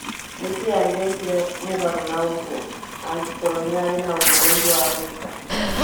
Nĩkĩĩ angĩekire mũgarũ naũguo, angĩkorwo nĩarĩ naũndũ ũngĩ wa gwĩka.